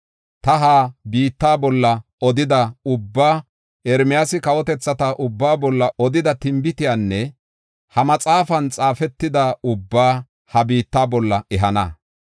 Ta ha biitta bolla odida ubbaa, Ermiyaasi kawotethata ubba bolla odida tinbitiyanne ha maxaafan xaafetida ubbaa ha biitta bolla ehana.